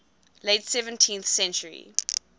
late seventeenth century